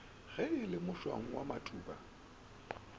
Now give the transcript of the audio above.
ge le mošwang wa matuba